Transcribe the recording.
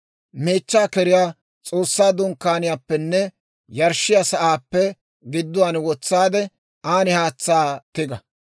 Meechchaa keriyaa S'oossaa Dunkkaaniyaappenne yarshshiyaa sa'aappe gidduwaan wotsaade, an haatsaa tiga.